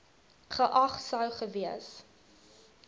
geag sou gewees